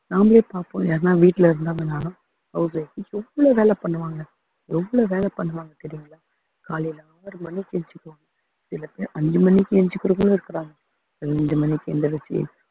நாமளே பார்ப்போம் யாருன்னா வீட்டுல இருந்தாங்கன்னாலும் house wife எவ்வளவு வேலை பண்ணுவாங்க எவ்வளவு வேலை பண்ணுவாங்க தெரியுங்களா காலையில ஆறு மணிக்கு எந்திரிச்சு சில பேர் அஞ்சு மணிக்கு எந்திரிச்சுக்கறவங்களும் இருக்கறாங்க அஞ்சு மணிக்கு எந்திரிச்சு